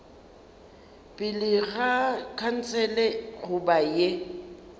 pele ga khansele goba ye